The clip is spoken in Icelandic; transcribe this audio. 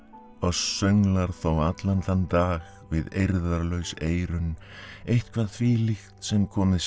oss sönglar þó allan þann dag við eirðarlaus eyrun eitthvað þvílíkt sem komið sé